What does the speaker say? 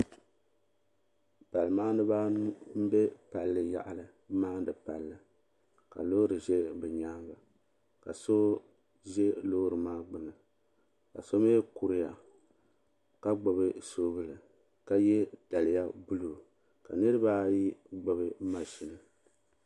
Pali maaniba anu m be palli yaɣali m maani palli ka loori ʒɛ bɛ nyaanga ka so ʒɛ loori maa gbini ka so mee kuriya ka gbibi soobuli ka ye daliya buluu ka niriba ayi gbibi maʒini.